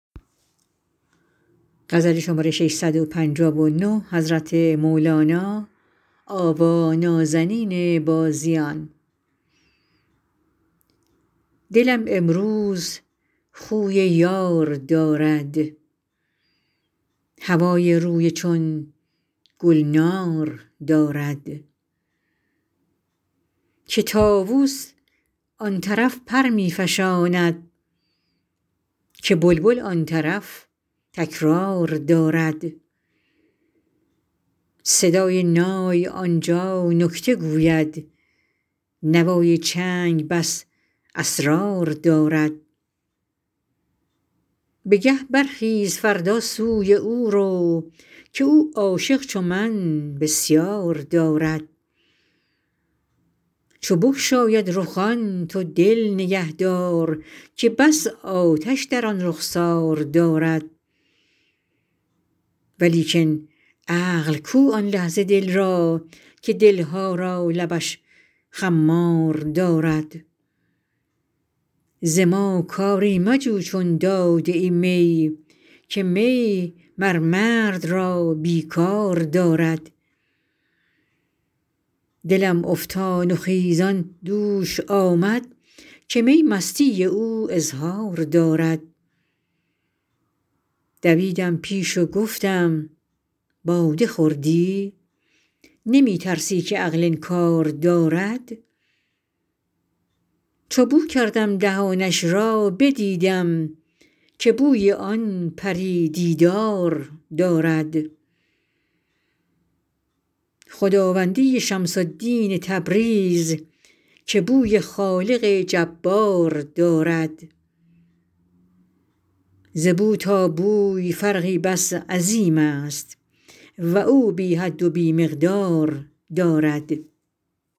دلم امروز خوی یار دارد هوای روی چون گلنار دارد که طاووس آن طرف پر می فشاند که بلبل آن طرف تکرار دارد صدای نای آن جا نکته گوید نوای چنگ بس اسرار دارد بگه برخیز فردا سوی او رو که او عاشق چو من بسیار دارد چو بگشاید رخان تو دل نگهدار که بس آتش در آن رخسار دارد ولیکن عقل کو آن لحظه دل را که دل ها را لبش خمار دارد ز ما کاری مجو چون داده ای می که می مر مرد را بی کار دارد دلم افتان و خیزان دوش آمد که می مستی او اظهار دارد دویدم پیش و گفتم باده خوردی نمی ترسی که عقل انکار دارد چو بو کردم دهانش را بدیدم که بوی آن پری دیدار دارد خداوندی شمس الدین تبریز که بوی خالق جبار دارد ز بو تا بوی فرقی بس عظیمست و او بی حد و بی مقدار دارد